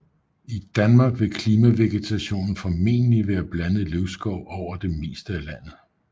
I Danmark vil klimaksvegetationen formentlig være blandet løvskov over det meste af landet